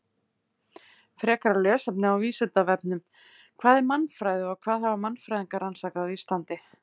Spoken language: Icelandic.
Frekara lesefni á Vísindavefnum: Hvað er mannfræði og hvað hafa mannfræðingar rannsakað á Íslandi?